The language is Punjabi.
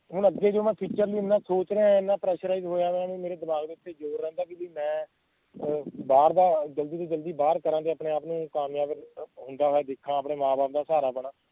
ਹੁਣ ਅੱਗੇ ਜੇ ਮੈਂ future ਲਈ ਏਨਾ ਸੋਚ ਰਿਹਾ ਆਂ ਮੈਂ pressurize ਹੋਇਆ ਪਿਆ ਵੀ ਮੇਰੇ ਦਿਮਾਗ ਉੱਤੇ ਜ਼ੋਰ ਰਹਿੰਦਾ ਆ ਵੀ ਮੈਂ ਬਾਹਰ ਦਾ ਜਲਦੀ ਤੋਂ ਜਲਦੀ ਬਾਹਰ ਕਰਾਂ ਤੇ ਆਪਣੇ ਆਪ ਨੂੰ ਕਾਮਯਾਬ ਹੁੰਦਾ ਦੇਖਾਂ ਆਪਣੇ ਮਾਂ ਬਾਪ ਦਾ ਸਹਾਰਾ ਬਣਾ